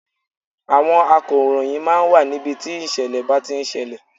Àwọn akọ̀ròyìn máa ń wà ní ibi tí ìṣẹ̀lẹ̀ ń bá ti ń ṣẹlẹ̀.